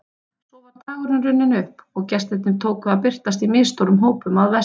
Svo var dagurinn runninn upp og gestirnir tóku að birtast í misstórum hópum að vestan.